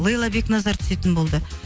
лейла бекназар түсетін болды